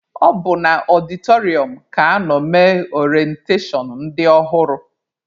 Ọ bụ na ọdịtọrịọm ka anọ mee orentashọn ndị ọhụrụ.